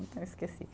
Eu esqueci.